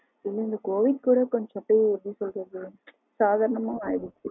இந்த covid கூட கொஞ்சம் எப்டி சொல்றது சாதரணம ஆகிட்டு